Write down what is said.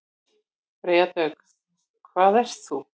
Freyja Dögg: Hvað ert þú?